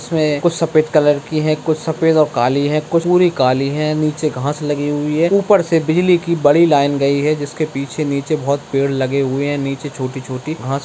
इसमें कुछ सफ़ेद कलर की है कुछ सफ़ेद और काली है कुछ पूरी काली हैं नीचे घास लगी हुई है ऊपर से बिजली की बड़ी लाइन गई है जिसके पीछे-नीचे बहुत पेड़ लगे हुए है नीचे छोटी-छोटी घास --